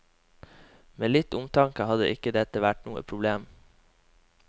Med litt omtanke hadde ikke dette vært noe problem.